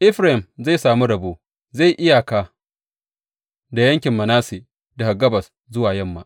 Efraim zai sami rabo; zai yi iyaka da yankin Manasse daga gabas zuwa yamma.